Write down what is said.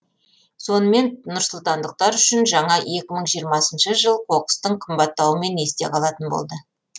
сонымен нұрсұлтандықтар үшін жаңа екі мың жиырмасыншы жыл қоқыстың қымбаттауымен есте қалатын болды